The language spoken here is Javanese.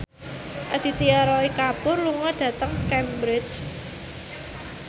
Aditya Roy Kapoor lunga dhateng Cambridge